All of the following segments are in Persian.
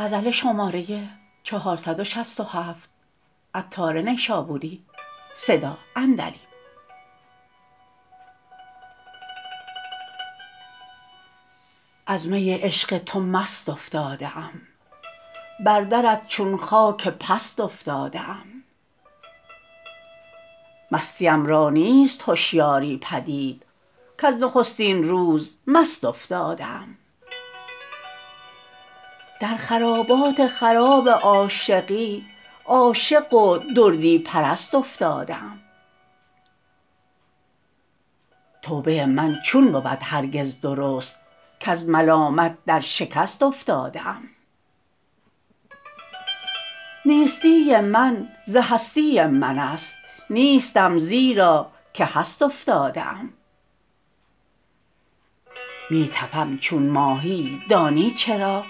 از می عشق تو مست افتاده ام بر درت چون خاک پست افتاده ام مستیم را نیست هشیاری پدید کز نخستین روز مست افتاده ام در خرابات خراب عاشقی عاشق و دردی پرست افتاده ام توبه من چون بود هرگز درست کز ملامت در شکست افتاده ام نیستی من ز هستی من است نیستم زیرا که هست افتاده ام می تپم چون ماهیی دانی چرا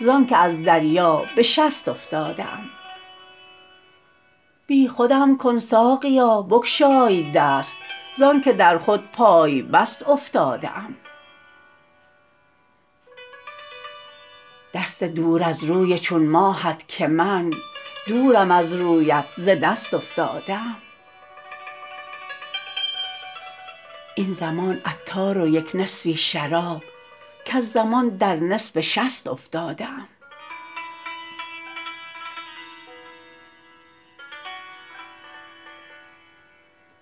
زانکه از دریا به شست افتاده ام بی خودم کن ساقیا بگشای دست زانکه در خود پای بست افتاده ام دست دور از روی چون ماهت که من دورم از رویت ز دست افتاده ام این زمان عطار و یک نصفی شراب کز زمان در نصف شست افتاده ام